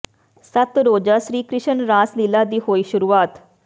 ਸੱਤ ਰੋਜ਼ਾ ਸ੍ਰੀ ਕ੍ਰਿਸ਼ਨ ਰਾਸ ਲੀਲ੍ਹਾ ਦੀ ਹੋਈ ਸ਼ੁਰੂਆਤ